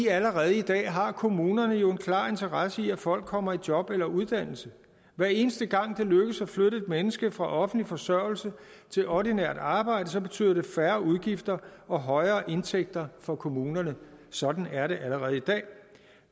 allerede i dag har kommunerne jo en klar interesse i at folk kommer i job eller uddannelse hver eneste gang det lykkes at flytte et menneske fra offentlig forsørgelse til ordinært arbejde betyder det færre udgifter og højere indtægter for kommunerne sådan er det allerede i dag